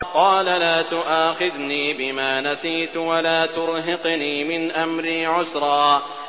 قَالَ لَا تُؤَاخِذْنِي بِمَا نَسِيتُ وَلَا تُرْهِقْنِي مِنْ أَمْرِي عُسْرًا